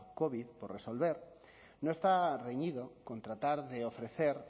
covid por resolver no está reñido con tratar de ofrecer